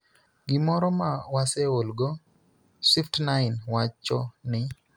gimoro ma waseolgo, Swift9 wacho ni,